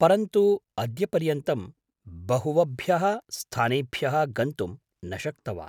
परन्तु अद्यपर्यन्तं बहुवबभ्यः स्थानेभ्यः गन्तुं न शक्तवान्।